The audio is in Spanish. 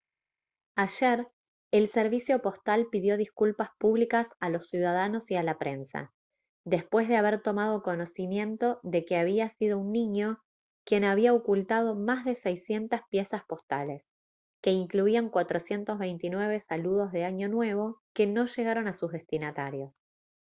ayer el servicio postal pidió disculpas públicas a los ciudadanos y a la prensa después de haber tomado conocimiento de que había sido un niño quien había ocultado más de 600 piezas postales que incluían 429 saludos de año nuevo que no llegaron a sus destinatarios